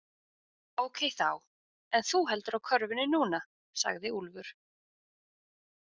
Ókei þá, en þú heldur á körfunni núna, sagði Úlfur.